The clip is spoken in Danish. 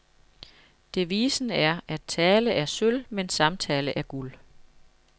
Devisen er, at tale er sølv, men samtale er guld.